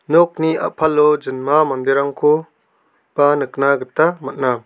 nokni a·palo jinma manderangko ba nikna gita man·a.